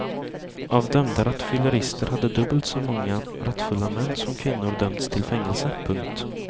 Av dömda rattfyllerister hade dubbelt så många rattfulla män som kvinnor dömts till fängelse. punkt